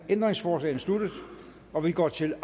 ændringsforslagene sluttet og vi går til